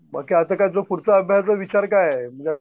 मग काय आता पुढच्या अभ्यासाचा विचार काय आहे